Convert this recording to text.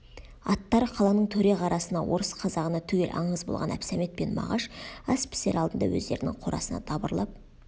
аттары қаланың төре қарасына орыс қазағына түгел аңыз болған әбсәмет пен мағаш ас пісер алдында өздерінің қорасына дабырлап